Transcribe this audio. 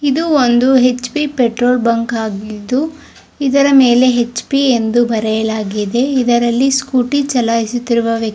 ಇದು ಒಂದು H P petrol bunk ಆಗಿದೆ ಇದರ ಮೇಲೆ ಹೆಚ್_ಪಿ ಅಂತ ಬರೆಯಲಾಗಿದೆ ಇದ್ರಲ್ಲಿ ಸ್ಕೂಟಿ ಚಲಾಯಿಸಿತಿರೋ ವಕ್ತಿ.